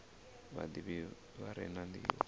vhadivhi vha re na ndivho